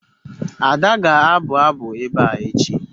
Ada ga-abu abu ebe a echi